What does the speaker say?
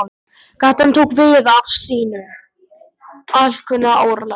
Gatan tók við af sínu alkunna örlæti.